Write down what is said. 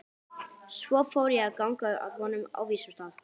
Svo fór ég að ganga að honum á vísum stað.